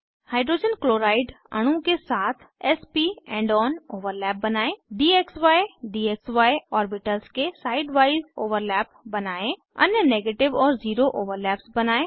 hydrogen chloride अणु के साथ s प एंड ऑन ओवरलैप बनायें dxy डीएक्सी ऑर्बिटल्स के साइड वाइज ओवरलैप बनायें अन्य नेगेटिवऔर ज़ीरो ओवरलैप्स बनायें